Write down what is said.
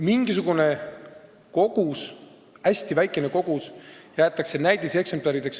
Mingisugune hästi väikene kogus jäetakse näidiseksemplarideks.